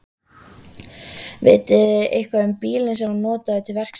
Vitið þið eitthvað um bílinn sem var notaður til verksins?